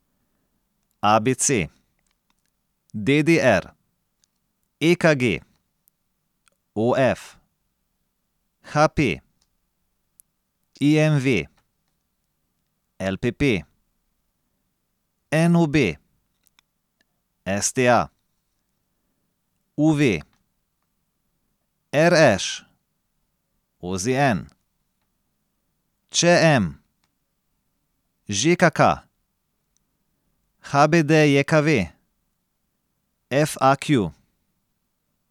A B C; D D R; E K G; O F; H P; I M V; L P P; N O B; S T A; U V; R Š; O Z N; Č M; Ž K K; H B D J K V; F A Q.